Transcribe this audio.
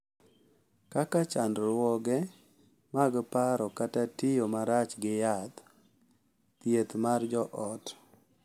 Kaka chandruoge mag paro kata tiyo marach gi yath, thieth mar joot